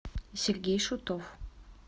сергей шутов